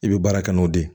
I bɛ baara kɛ n'o de ye